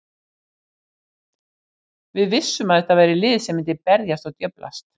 Við vissum að þetta væri lið sem myndi berjast og djöflast.